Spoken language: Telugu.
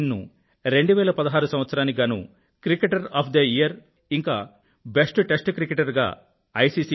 ఆస్విన్ ను2016 సంవత్సరానికి గానూ క్రికెటర్ ఆఫ్ ద ఇయర్ మరియు బెస్ట్ టెస్ట్ క్రికెటర్గా ఐ